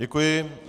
Děkuji.